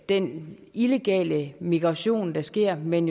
den illegale migration der sker men